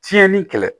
Tiɲɛni kɛlɛ